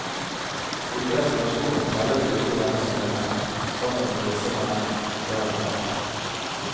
Slike reservasjoner tellet ikke i denne sammenhengen, sammen med disse vennene, det hadde han lært.